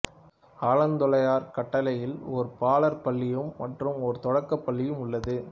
ஆலந்துறையார் கட்டளையில் ஒரு பாலர் பள்ளியும் மற்றும் ஒரு தொடக்க பள்ளியும் உள்ளது